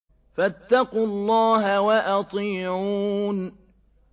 فَاتَّقُوا اللَّهَ وَأَطِيعُونِ